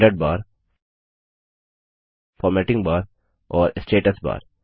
standard bar formatting bar और status बार